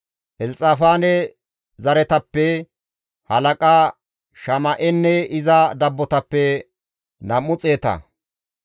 Elxafaane zereththatappe halaqa Shama7enne iza dabbotappe nam7u xeeta;